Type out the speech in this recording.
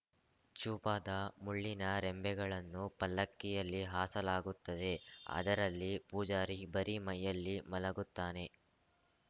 ಚೂಪಾದ ಮುಳ್ಳಿನ ರೆಂಬೆಗಳನ್ನು ಪಲ್ಲಕ್ಕಿಯಲ್ಲಿ ಹಾಸಲಾಗುತ್ತದೆ ಅದರಲ್ಲಿ ಪೂಜಾರಿ ಬರಿ ಮೈಯಲ್ಲಿ ಮಲಗುತ್ತಾನೆ